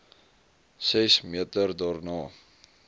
ses meter daarna